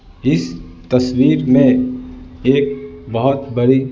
इस तस्वीर में एक बहुत बड़ी--